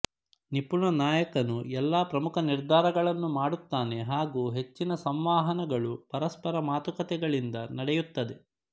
ನಿಪುಣ ನಾಯಕನು ಎಲ್ಲಾ ಪ್ರಮುಖ ನಿರ್ಧಾರಗಳನ್ನು ಮಾಡುತ್ತಾನೆ ಹಾಗೂ ಹೆಚ್ಚಿನ ಸಂವಹನಗಳು ಪರಸ್ಪರ ಮಾತುಕತೆಗಳಿಂದ ನಡೆಯುತ್ತದೆ